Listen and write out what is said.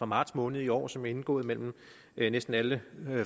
marts måned i år som er indgået mellem næsten alle